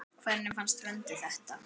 Hvernig fannst Vöndu þetta?